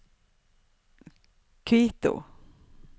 Quito